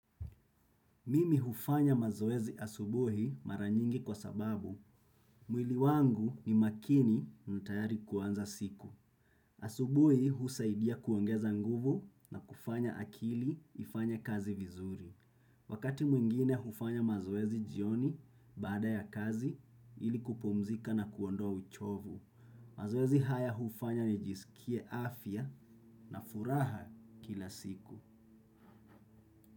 Mimi hufanya mazoezi asubuhi mara nyingi kwa sababu mwili wangu ni makini na tayari kuanza siku. Asubuhi husaidia kuongeza nguvu na kufanya akili ifanye kazi vizuri. Wakati mwingine hufanya mazoezi jioni baada ya kazi ili kupumzika na kuondoa uchovu. Mazoezi haya hufanya nijisikie afya na furaha kila siku.